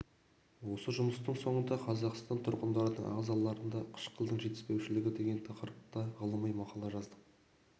осы жұмыстың соңында қазақстан тұрғындарының ағзаларында қышқылдың жетіспеушілігі деген тақырыпта ғылыми мақала жаздық